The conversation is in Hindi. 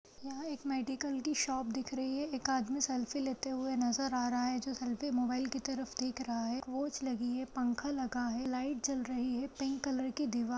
यहाँ एक मेडिकल की शॉप दिख रही है एक आदमी सेल्फी लेते हुए नज़र आ रहा है जो सेल्फी मोबाइल की तरफ देख रहा है कोच लगी है पंखा लगा है लाइट जल रही है पिंक कलर की दीवार --